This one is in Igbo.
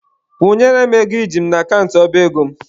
Kwụnyere m ego iji m n'akant ọba ego m!.